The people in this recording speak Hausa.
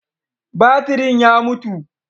Batirin ya mutu.